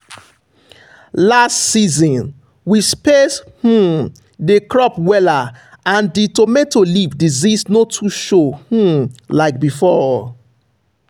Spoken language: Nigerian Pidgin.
last season we space um the crop wella and the tomato leaf disease no too show um like before.